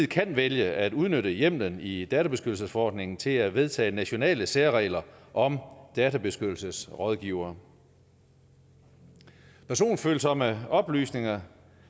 kan vælge at udnytte hjemmelen i databeskyttelsesforordningen til at vedtage nationale særregler om databeskyttelsesrådgivere personfølsomme oplysninger